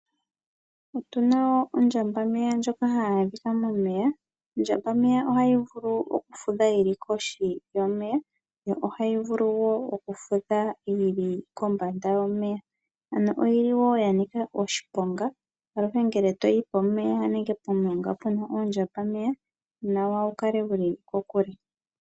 Otuna woo ondjambameya ndjoka hayi adhika momeya. Ondjambameya ohayi vulu oku fudha yili kohi yomeya yo ohayi vulu woo oku fudha yili kombanda yomeya, ano oyili woo ya nika oshiponga aluhe ngele toyi pomeya nenge pomulonga puna oondjambameya onawa wu kale wuli kokule.